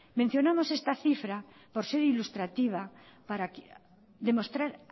mencionamos esta cifra por ser ilustrativa para demostrar